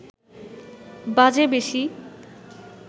বাজে বেশি